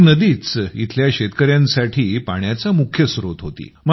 ही नदीच येथील शेतकर्यांसाठी पाण्याचा मुख्य स्त्रोत होती